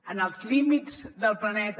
en els límits del planeta